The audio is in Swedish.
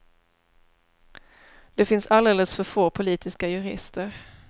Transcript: Det finns alldeles för få politiska jurister.